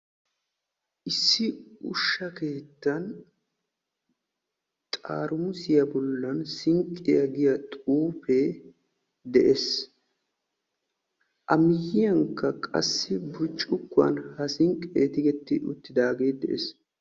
Issi ushshaa keettan xaramussiya bolla sinqqiya giya xuufe de'ees. A matan burccukkuwan sinqqe tiggetti uttiis.